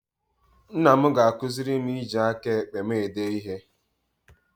Nna m ga-akụziri m iji aka ekpe m ede ihe